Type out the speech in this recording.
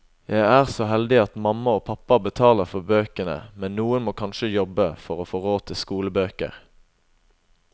Jeg er så heldig at mamma og pappa betaler for bøkene, men noen må kanskje jobbe, for å få råd til skolebøker.